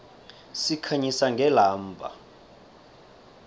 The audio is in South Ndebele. sikhanyisa ngelamba